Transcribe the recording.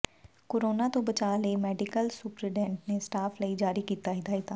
corona ਤੋਂ ਬਚਾਅ ਲਈ ਮੈਡੀਕਲ ਸੁਪਰਡੈਂਟ ਨੇ ਸਟਾਫ ਲਈ ਜਾਰੀ ਕੀਤੀ ਹਦਾਇਤਾਂ